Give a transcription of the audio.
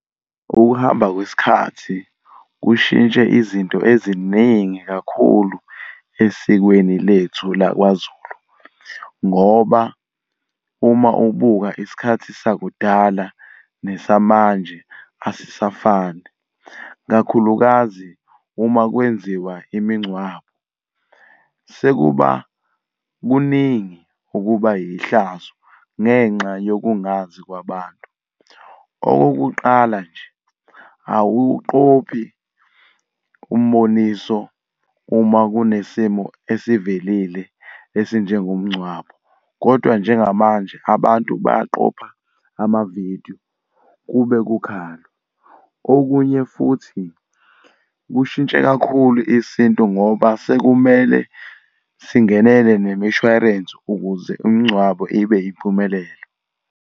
Ukuhamba kwesikhathi kushintshe izinto eziningi kakhulu esikweni lethu lakwaZulu. Ngoba uma ubuka isikhathi sakudala nesamanje asisafani, ikakhulukazi uma kwenziwa imingcwabo, sekuba kuningi okuba yihlazo ngenxa yokungazi kwabantu. Okokuqala nje, awuwuqophi umboniso uma kunesimo esivelile esinjengomngcwabo, kodwa njengamanje abantu baqopha amavidiyo kube kukhalwa. Okunye futhi kushintshe kakhulu isintu ngoba sekumele singenele bemishwarensi ukuze umngcwabo ibe impumelelo.